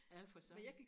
ja for søren